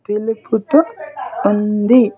తెలుపుతూ ఉంది.